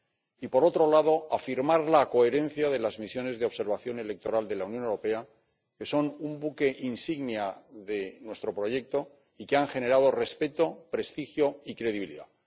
y, por otro, afirmar la coherencia de las misiones de observación electoral de la Unión Europea, que son un buque insignia de nuestro proyecto y que han generado respeto, prestigio y credibilidad.